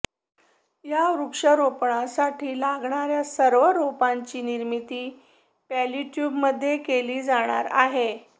या वृक्षारोपणासाठी लागणाऱ्या सर्व रोपांची निर्मिती पॉलिट्युबमध्ये केली जाणार आहे